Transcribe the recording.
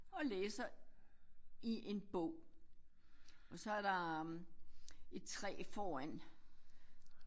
Og læser i en bog og så er der et træ foran